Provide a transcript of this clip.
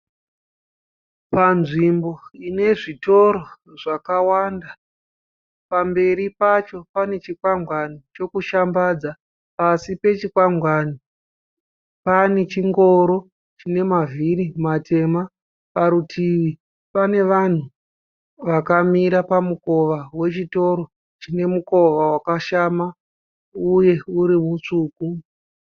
Panzvimbo inezvitoro zvakawanda. Pamberi pacho panechikwangwani chokushambadza, pasi pechikwangwani panechingoro chinemavhiri matema. Parutivi panevanhu vakamira pamukova wechitoro chinemukova wakashama uye uri mutsvuku.